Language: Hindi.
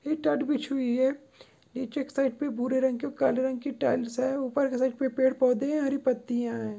ई टाट बिछी हुई है नीचे एक साइड पे भूरे रंग की काले रंग की टाइल्स है ऊपर के साईड पेड़ पौधे है हरी पत्तिया है।